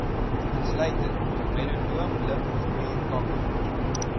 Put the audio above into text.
insluitend melanoom limfklierkanker